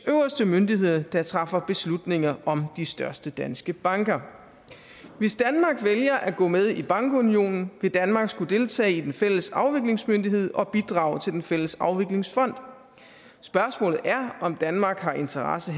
øverste myndighed der træffer beslutninger om de største danske banker hvis danmark vælger at gå med i bankunionen vil danmark skulle deltage i den fælles afviklingsmyndighed og bidrage til den fælles afviklingsfond spørgsmålet er om danmark har interesse